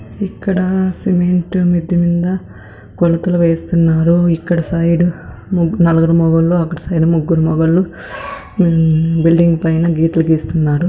ఇక్కడ సిమెంటు మిద్ద మీద కొలతలు వేస్తున్నారు ఇక్కడ సైడు నలుగురు మొగోళ్ళు అక్కడి సైడు ముగ్గురు మొగోళ్ళు మగవాళ్ళు మ్ బిల్డింగ్ పైన గీతలు గీస్తున్నారు.